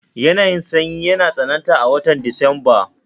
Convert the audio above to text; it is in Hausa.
Yanayin sanyi yana tsananta a watan Disamba